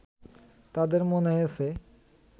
তাদের মনে হয়েছে